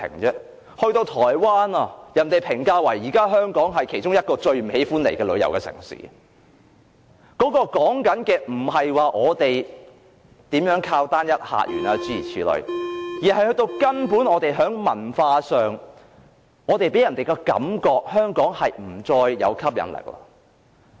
現時台灣評價香港為其中一個最不喜歡前往旅遊的城市，說的不是我們如何依賴單一客源等問題，而是根本在文化上，香港給人的感覺是已經不再具吸引力了。